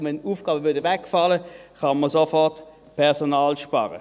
Wenn Aufgaben wegfielen, könnte man sofort Personal einsparen.